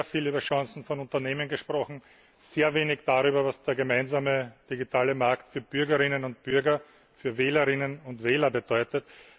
Es wurde sehr viel über Chancen von Unternehmen gesprochen, sehr wenig darüber, was der gemeinsame digitale Markt für Bürgerinnen und Bürger, für Wählerinnen und Wähler bedeutet.